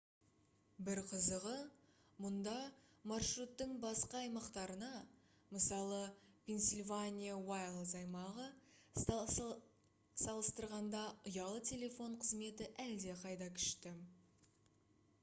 бір қызығы мұнда маршруттың басқа аймақтарына мысалы пенсильвания уайлдс аймағы салыстырғанда ұялы телефон қызметі әлдеқайда күшті